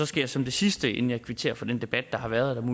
skal som det sidste inden jeg kvitterer for den debat der har været